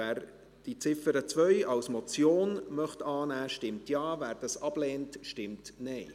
Wer die Ziffer 2 als Motion annehmen möchte, stimmt Ja, wer dies ablehnt, stimmt Nein.